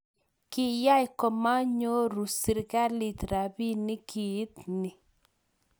kiyai komanyoru serikalit robinik kiit ni